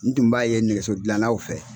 N tun b'a ye nɛgɛso dilanlaw fɛ.